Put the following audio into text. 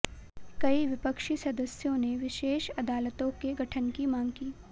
कई विपक्षी सदस्यों ने विशेष अदालतों के गठन की मांग की